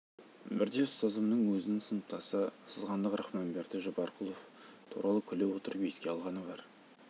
бірде ұстазымның өзінің сыныптасы сызғандық рахманберді жаппарқұлов туралы күле отырып еске алғаны бар